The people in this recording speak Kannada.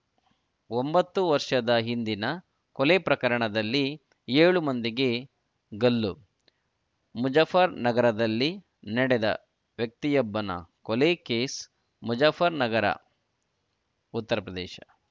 ಒಂಬತ್ತು ವರ್ಷದ ಹಿಂದಿನ ಕೊಲೆ ಪ್ರಕರಣದಲ್ಲಿ ಏಳು ಮಂದಿಗೆ ಗಲ್ಲು ಮುಜಫ್ಫರ್‌ನಗರದಲ್ಲಿ ನಡೆದ ವ್ಯಕ್ತಿಯೊಬ್ಬನ ಕೊಲೆ ಕೇಸ್‌ ಮುಜಫ್ಫರ್‌ನಗರ ಉತ್ತರ ಪ್ರದೇಶ